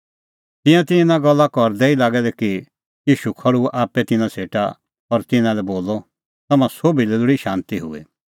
तिंयां तै इना गल्ला करदै ई लागै दै कि ईशू खल़्हुअ आप्पै तिन्नां सेटा और तिन्नां लै बोलअ तम्हां सोभी लोल़ी शांती हुई